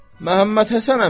Məhəmmədhəsən əmim,